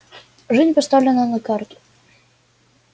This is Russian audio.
жизнь поставлена на карту